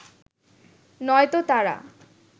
নয়তো তারা